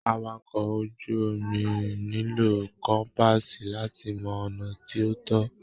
Àwàkọ̀ ojú omi nílò kọ́mpaasi láti mọ ọnà tí o tọ.